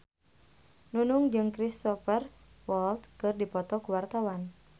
Nunung jeung Cristhoper Waltz keur dipoto ku wartawan